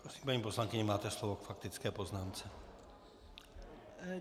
Prosím, paní poslankyně, máte slovo k faktické poznámce.